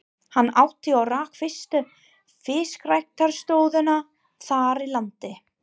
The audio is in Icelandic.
Hann átti og rak fyrstu fiskræktarstöðina þar í landi.